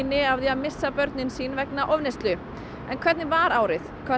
að missa börnin sín vegna ofneyslu en hvernig var árið hvað